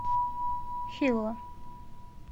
хилла